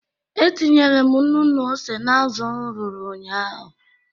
E tinyere m nnu na ose n'azụ m rụrụ ụnyaahụ.